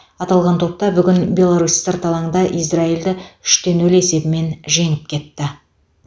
аталған топта бүгін беларусь сырт алаңда израильді үш те нөл есебімен жеңіп кетті